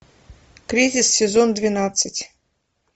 третий сезон двенадцать